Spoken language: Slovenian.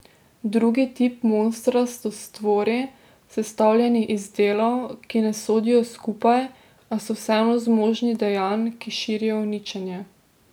Drugi tip monstra so stvori, sestavljeni iz delov, ki ne sodijo skupaj, a so vseeno zmožni dejanj, ki širijo uničenje.